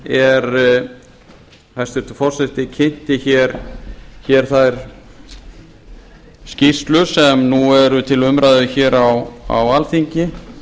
er hæstvirtur forseti kynnti hér þá skýrslur sem nú eru til umræðu hér á alþingi